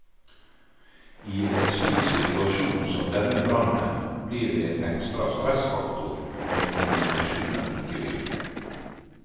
I en slik situasjon som denne brannen blir det en ekstra stressfaktor når kommunikasjonen ikke virker.